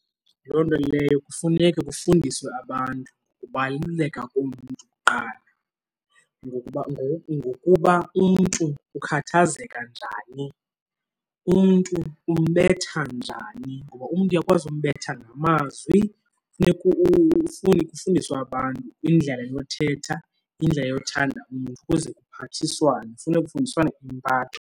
Loo nto leyo kufuneka kufundiswe abantu ngokubaluleka komntu kuqala ngokuba ngoku, ngokuba umntu ukhathazeka njani, umntu umbetha njani. Ngoba umntu uyakwazi umbetha ngamazwi, funeka kufundiswe abantu indlela yothetha, indlela yothanda umntu ukuze kuphathiswane. Funeka kufundiswane impatho.